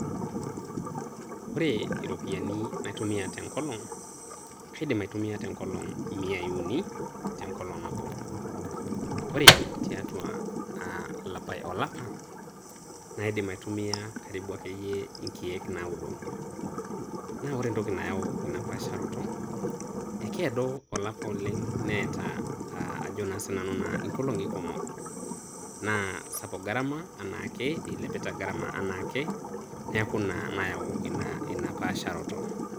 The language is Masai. Ore iropiani naitumia tenkolong' kaidim aitumia teng'olong' imiai uni teng'olong' nabo ore tiatua olapa naidim akeiye aitumia inkeek naudo. Naa kore entoki nayau ina aasharoto ekeado olapa oleng' neata ajo naa siinanu ing'olong'i kumok naa sapuk garama anaa ake eilepita gharama anaa ake neaku ina nayau ina paasharoto